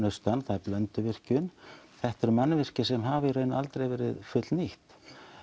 austan það er Blönduvirkjun þetta eru mannvirki sem hafa í raun aldrei verið fullnýtt